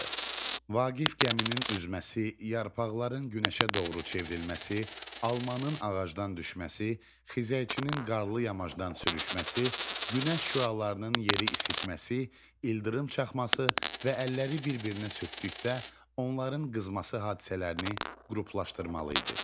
Vaqif gəminin üzməsi, yarpaqların günəşə doğru çevrilməsi, almanın ağacdan düşməsi, xizəkçinin qarlı yamacdan sürüşməsi, günəş şüalarının yeri isitməsi, ildırım çaxması və əlləri bir-birinə sürtdükdə onların qızması hadisələrini qruplaşdırmalı idi.